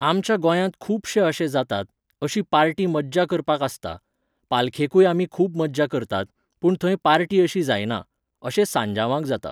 आमच्या गोंयांत खुबशे अशे जातात, अशी पार्टी मज्जा करपाक आसता. पालखेकूय आमी खूब मज्जा करतात, पूण थंय पार्टी अशी जायना. अशें सांजांवाक जाता.